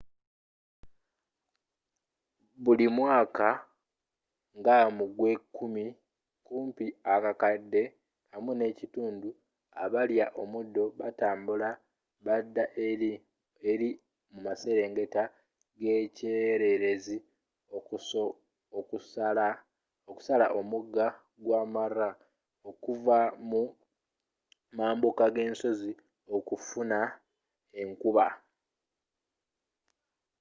buli mwaka nga mugw'ekumi kumpi akakadde 1.5 abalya omuddo batambula bada eri mumaserengeta g'ekyererezi okusala omuga gwa mara okuva mu mambuka ge nsozi okufuna enkuba